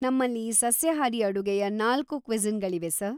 ನಮ್ಮಲ್ಲಿ ಸಸ್ಯಾಹಾರಿ ಅಡುಗೆಯ ನಾಲ್ಕು ಕ್ವಿಸಿನ್‍ಗಳಿವೆ ಸರ್.